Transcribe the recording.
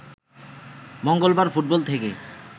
মঙ্গলবার ফুটবল থেকে